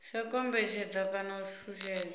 sa kombetshedza kana u shushedza